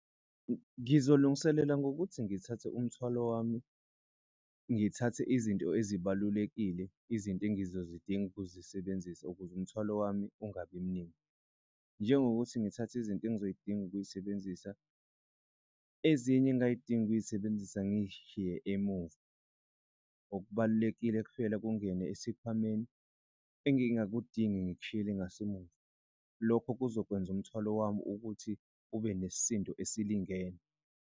Ngizolungiselela ngokuthi ngithathe umthwalo wami, ngithathe izinto ezibalulekile izinto engizozidinga ukuzisebenzisa ukuze umthwalo wami ungabi mningi. Njengokuthi ngithathe izinto engizoy'dinga ukuyisebenzisa ezinye engay'dingi ukuyisebenzisa ngishiye emumva. Okubalulekile kuphela kungene esikhwameni engingakudingi ngikushiyele ngasemuva. Lokho kuzokwenza umthwalo wami ukuthi ube nesisindo esilingene.